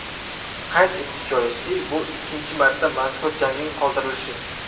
Qayd etish joiz, bu ikkinchi marta mazkur jangning qoldirilishi.